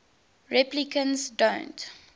replicants don't